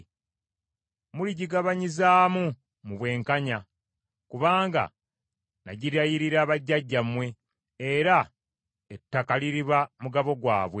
Muligibagabanyizaamu mu bwenkanya, kubanga nagirayirira bajjajjammwe, era ettaka liriba mugabo gwabwe.